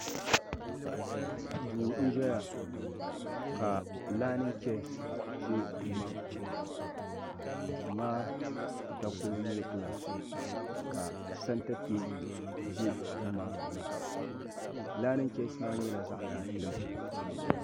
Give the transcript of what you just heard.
Duu n ʒɛya ka laani cheyas be duu maa puuni ka duu maa takoro nyɛ gilaasi ka Santa teebuli za duu maa puuni laani cheyas maa nyɛla zaɣa tampilim.